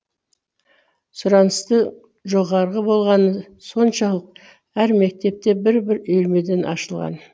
сұраныстың жоғарғы болғаны соншалық әр мектепте бір бір үйірмеден ашылған